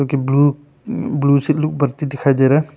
कि blue blue दिखाई दे रहा है।